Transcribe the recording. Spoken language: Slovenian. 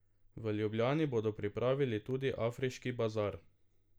V Ljubljani bodo pripravili tudi afriški bazar.